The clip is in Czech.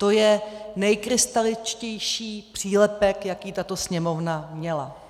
To je nejkrystaličtější přílepek, jaký tato Sněmovna měla.